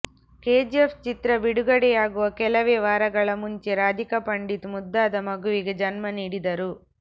KGF ಚಿತ್ರ ಬಿಡುಗಡೆಯಾಗುವ ಕೆಲವೇ ವಾರಗಳ ಮುಂಚೆ ರಾಧಿಕಾ ಪಂಡಿತ್ ಮುದ್ದಾದ ಮಗುವಿಗೆ ಜನ್ಮ ನೀಡಿದರು